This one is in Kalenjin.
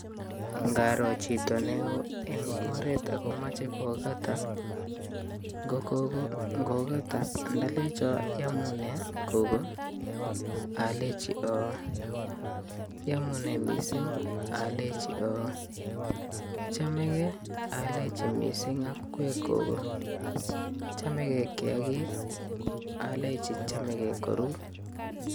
Ngaro chito neo eng oret akomeche kokata, ngo gogo ngokata ndalecho iamune gogo? Alechi oo, iamune mising ?Alechi oo, IChamegei? Alechi mising akikwek gogo, Chomegei kiakik? Alechi chamegei koru.